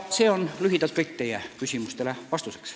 See on lühidalt kõik teie küsimustele vastuseks.